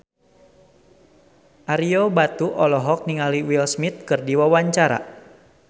Ario Batu olohok ningali Will Smith keur diwawancara